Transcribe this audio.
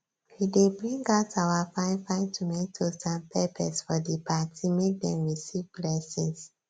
we dey bring out our fine fine tomatoes and peppers for di party make dem receive blessings